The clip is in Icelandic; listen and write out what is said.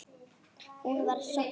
Hún var sofnuð.